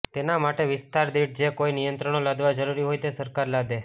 તેના માટે વિસ્તાર દિઠ જે કોઈ નિયંત્રણો લાદવા જરૂરી હોય તે સરકાર લાદે